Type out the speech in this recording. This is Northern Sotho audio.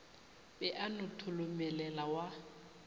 be a no tholomelela wa